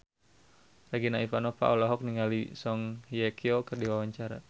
Regina Ivanova olohok ningali Song Hye Kyo keur diwawancara